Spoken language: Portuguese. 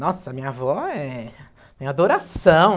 Nossa, a minha avó é... Tem adoração.